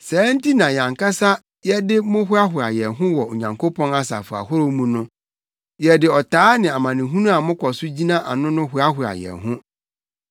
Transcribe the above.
Saa nti na yɛn ankasa yɛde mo hoahoa yɛn ho wɔ Onyankopɔn asafo ahorow mu no. Yɛde ɔtaa ne amanehunu a mokɔ so gyina ano no hoahoa yɛn ho.